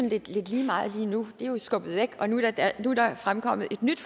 lidt lige meget lige nu det er jo skubbet væk og nu er der fremkommet et nyt